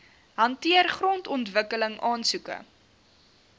hanteer grondontwikkeling aansoeke